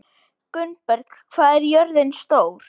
Gunnberg, hvað er jörðin stór?